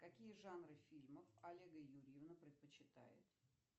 какие жанры фильмов олега юрьевна предпочитает